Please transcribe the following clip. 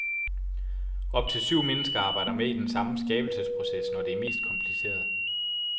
Op til syv mennesker arbejder med i den samme skabelsesproces, når det er mest kompliceret.